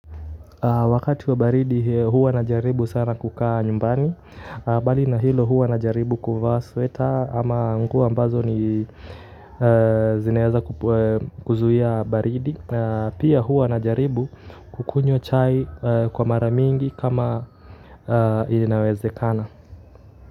Wakati wa baridi huwa najaribu sana kukaa nyumbani, mbali na hilo huwa najaribu kuvaa sweta, ama nguo ambazo ni zinaweza kuzuia baridi, pia huwa najaribu kukunywa chai kwa mara mingi kama inawezekana.